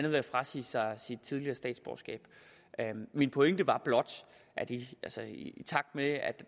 ved at frasige sig sit tidligere statsborgerskab min pointe var blot at i takt med